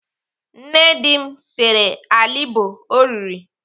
Nne di m sere alịbọ o riri.